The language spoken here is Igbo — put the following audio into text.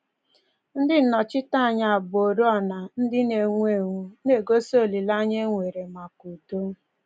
Ndị nnọchiteanya bu oriọna ndị na-enwu enwu — na-egosi olileanya e nwere maka udo